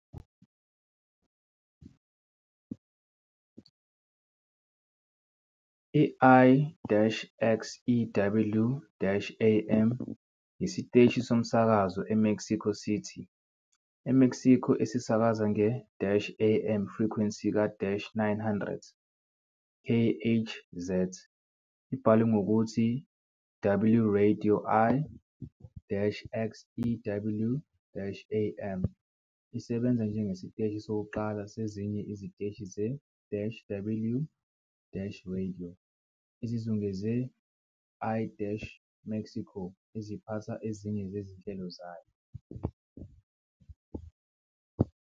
I-XEW-AM iyisiteshi somsakazo eMexico City, eMexico, esisakaza nge-AM frequency ka-900 kHz, ibhalwe ngokuthi "W Radio, i"-XEW-AM isebenza njengesiteshi sokuqala sezinye iziteshi ze-"W-Radio" ezizungeze i-Mexico eziphatha ezinye zezinhlelo zayo.